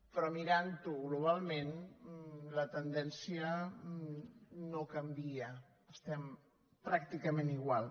però mirant ho globalment la tendència no canvia estem pràcticament igual